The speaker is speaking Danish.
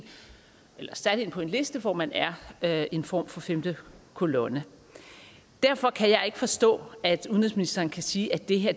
på en liste hvor man er en form for femte kolonne derfor kan jeg ikke forstå at udenrigsministeren kan sige at det her